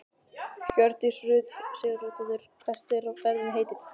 Hjördís Rut Sigurjónsdóttir: Hvert er ferðinni heitið?